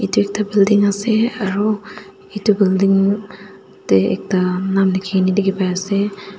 edu ekta building ase aro edu building tae ekta nam likhina dikhipaiase.